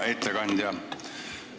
Hea ettekandja!